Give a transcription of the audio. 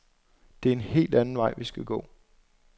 Det er en helt anden vej vi skal gå.